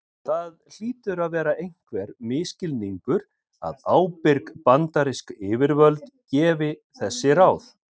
Það hlýtur að vera einhver misskilningur að ábyrg bandarísk yfirvöld gefi þessi ráð.